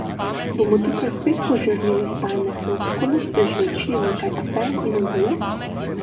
Bomo tukaj spet požrli le stalne floskule, prežvečili nekaj afer in adijo?